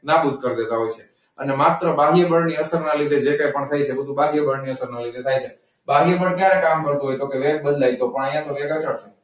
નાબૂદ કરી દેતા હોય છે. અને માત્ર બાહ્ય બળની અસરના લીધે જે કંઈ પણ થાય છે એ બાહ્ય બળની અસરના લીધે થાય છે. બાહ્ય બળ ક્યારે કામ કરતું હોય? તો કે તો કે રેટ બદલાય ત્યારે. પણ અહીંયા તો રેટ અચળ છે.